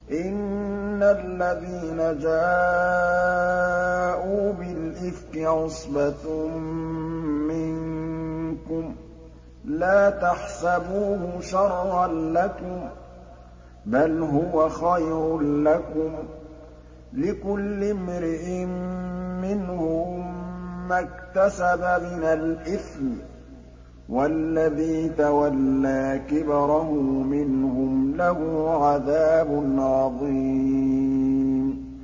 إِنَّ الَّذِينَ جَاءُوا بِالْإِفْكِ عُصْبَةٌ مِّنكُمْ ۚ لَا تَحْسَبُوهُ شَرًّا لَّكُم ۖ بَلْ هُوَ خَيْرٌ لَّكُمْ ۚ لِكُلِّ امْرِئٍ مِّنْهُم مَّا اكْتَسَبَ مِنَ الْإِثْمِ ۚ وَالَّذِي تَوَلَّىٰ كِبْرَهُ مِنْهُمْ لَهُ عَذَابٌ عَظِيمٌ